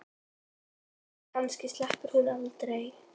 Kannski sleppur hún aldrei.